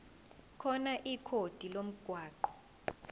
khona ikhodi lomgwaqo